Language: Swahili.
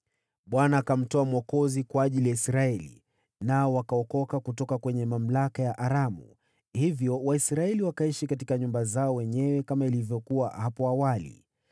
Bwana akamtoa mwokozi kwa ajili ya Israeli, nao wakaokoka kutoka kwenye mamlaka ya Aramu. Hivyo Waisraeli wakaishi katika nyumba zao wenyewe kama ilivyokuwa hapo awali.